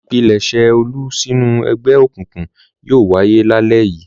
Ìpilẹ̀ṣẹ̀ Olú sínú ẹgbẹ́ òkùnkùn yóò wáyé lálẹ́ yìí.